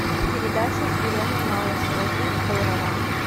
передача с еленой малышевой жить здорово